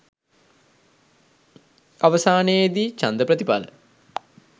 අවසානයේ දී ඡන්ද ප්‍රතිඵල